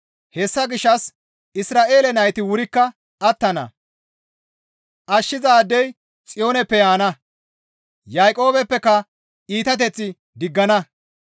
Hessa gishshas Isra7eele nayti wurikka attana. «Ashshizaadey Xiyooneppe yaana; Yaaqoobeppeka iitateth diggana.